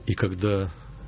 и когда